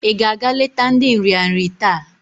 I ga-aga leta ndi nrịanrị taa?